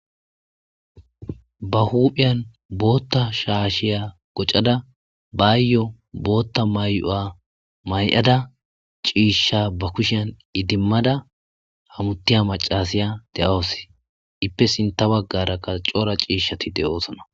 Ba hupheyan botha shashe qocada bayo botha mayo mayada cisha ba kushen idimada hamutiy macasya de'awus ipe sinitha bagara qasi coora cishati de'osona